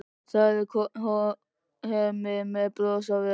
Það er Hemmi með bros á vör.